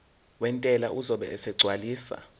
wentela uzobe esegcwalisa